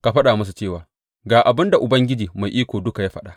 Ka faɗa musu cewa, Ga abin da Ubangiji Mai Iko Duka ya faɗa.’